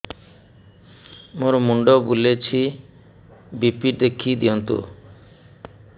ମୋର ମୁଣ୍ଡ ବୁଲେଛି ବି.ପି ଦେଖି ଦିଅନ୍ତୁ